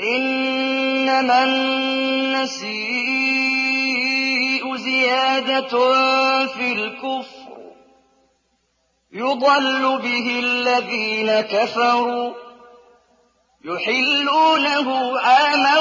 إِنَّمَا النَّسِيءُ زِيَادَةٌ فِي الْكُفْرِ ۖ يُضَلُّ بِهِ الَّذِينَ كَفَرُوا يُحِلُّونَهُ عَامًا